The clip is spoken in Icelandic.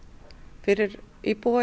fyrir íbúa í